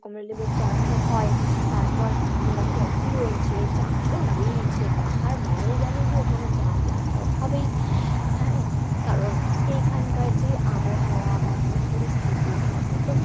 কমলা লেবু চাষ ও হয়, তারপর উম coffee রয়েছে চা তো রয়েইছে, পাহাড় মানেই জানি যে ওখানে চা চাষ তো হবেই হ্যাঁ কারন এইখান কার যে আবহাওয়া বা যে পরিস্থিতি তাতে তো